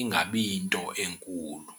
ingabi yinto enkulu.